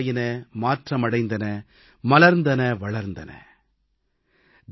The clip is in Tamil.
அமைப்புகள் உருவாயின மாற்றம் அடைந்தன மலர்ந்தன வளர்ந்தன